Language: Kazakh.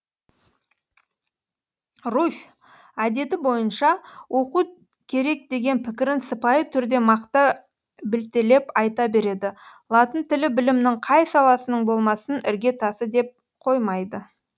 руфь әдеті бойынша оқу керек деген пікірін сыпайы түрде мақта білтелеп айта береді латын тілі білімнің қай саласының болмасын ірге тасы деп қоймайды